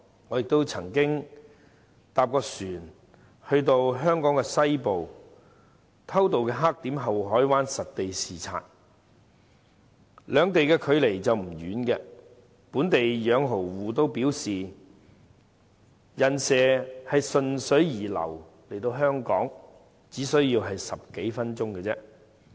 我曾乘船前往香港西部的偷渡黑點后海灣實地視察，兩地距離不遠，本地養蠔戶也表示"人蛇"順水流游來香港，只需10多分鐘而已。